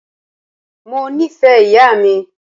Mó nìfẹ ìyà mi.